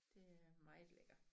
Det er meget lækker